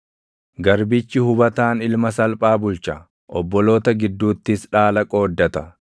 Garbichi hubataan ilma salphaa bulcha; obboloota gidduuttis dhaala qooddata.